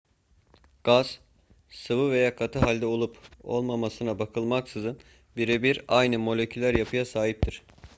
gaz sıvı veya katı halde olup olmamasına bakılmaksızın birebir aynı moleküler yapıya sahiptir